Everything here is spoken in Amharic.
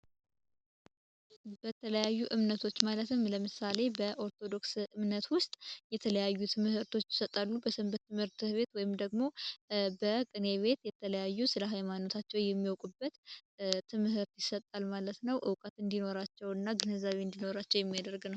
በተለያዩ እምነቶች ማለትም ለምሳሌ በ ኦርቶዶክስ እምነት ውስጥ የተለያዩ ትምህርቶች ይሰጣሉ። በሰንበት ትምህርት ቤት ወይም ደግሞ በቅኔ ቤት የተለያዩ ስራ ሃይማኖታቸው የሚወቁበት ትምህርት ይሰጣል ማለት ነው እውቀት እንዲኖራቸው የሚያደርግ ነው።